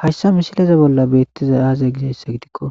hayssa misileza bolla beettiza aazay gizayssa gidikko